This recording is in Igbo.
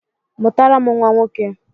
Mụtara m nwa nwoke!